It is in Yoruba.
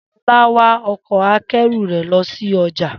Shola wa ọkọ̀-akẹ́rù rẹ̀ lọ sí ọjà